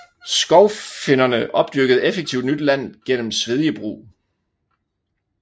Skovfinnerne opdyrkede effektivt nyt land gennem svedjebrug